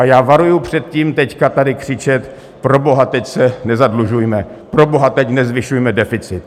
A já varuji před tím teď tady křičet proboha, teď se nezadlužujme, proboha, teď nezvyšujme deficit.